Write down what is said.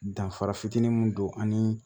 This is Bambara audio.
Danfara fitinin don ani